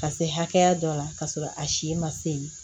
Ka se hakɛya dɔ la k'a sɔrɔ a si ma se